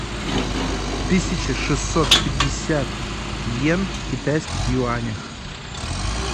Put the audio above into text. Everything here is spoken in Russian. тысяча шестьсот пятьдесят иен в китайских юанях